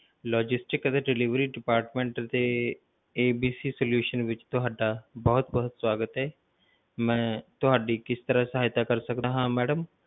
Logistic ਅਤੇ delivery depatment ਅਤੇ ABC solution ਵਿੱਚ ਤੁਹਾਡਾ ਬਹੁਤ ਬਹੁਤ ਸਵਾਗਤ ਹੈ ਮੈਂ ਤੁਹਾਡੀ ਕਿਸ ਤਰ੍ਹਾਂ ਸਹਾਇਤਾ ਕਰ ਸਕਦਾ ਹਾਂ madam